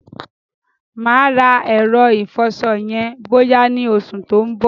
Mà á rà ẹ̀rọ ìfọṣọ yẹn bọ́yá ni oṣù tí ó ń bọ̀.